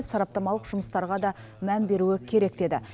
сараптамалық жұмыстарға да мән беруі керек деді